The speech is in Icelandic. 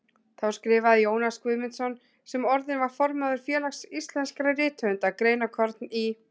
Þá skrifaði Jónas Guðmundsson, sem orðinn var formaður Félags íslenskra rithöfunda, greinarkorn í